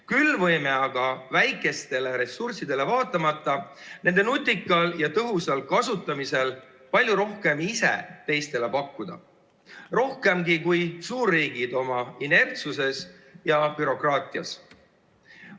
Küll võime aga ressursside väiksusele vaatamata nende ressursside nutika ja tõhusa kasutamise korral palju rohkem ise teistele pakkuda, rohkemgi kui suurriigid oma inertsuses ja bürokraatiaga.